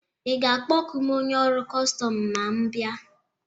Ị ga-akpọku m onye ọrụ kọstọm ma m bịa?